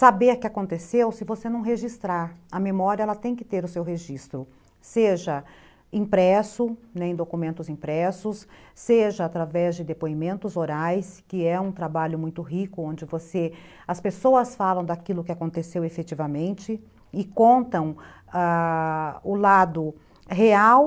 Saber que aconteceu se você não registrar. A memória ela tem que ter o seu registro, seja impresso, né, em documentos impressos, né, seja através de depoimentos orais, que é um trabalho muito rico, onde você, as pessoas falam daquilo que aconteceu efetivamente e contam ãh... a o lado real